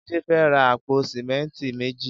Jide fè rá àpó sìmẹ̀mtí méjé